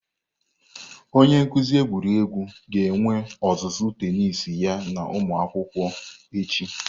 Onye nkuzi egwuregwu ga-enwe ọzụzụ tenisi ya na ụmụ akwụkwọ echi.